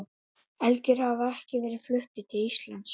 Elgir hafa ekki verið fluttir til Íslands.